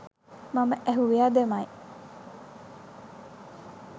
මම ඇහුවෙ අදමයි